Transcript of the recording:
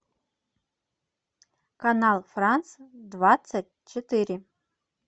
канал франц двадцать четыре